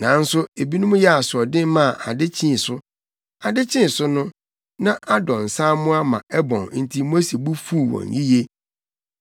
Nanso ebinom yɛɛ asoɔden maa ade kyee so. Ade kyee so no, na adɔ nsaammoa ma ɛbɔn enti Mose bo fuw wɔn yiye.